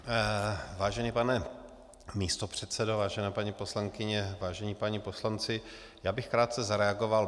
Vážený pane místopředsedo, vážené paní poslankyně, vážení páni poslanci, já bych krátce zareagoval.